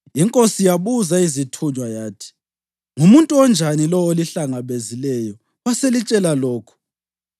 Inkosi yabuza izithunywa yathi, “Ngumuntu onjani lowo olihlangabezileyo waselitshela lokhu?”